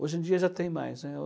Hoje em dia já tem mais, né?